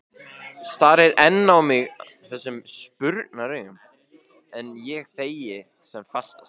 Starir enn á mig þessum spurnaraugum, en ég þegi sem fastast.